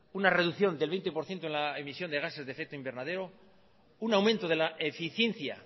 una reducción del veinte por ciento en la emisión de gases de efecto invernadero un aumento de la eficiencia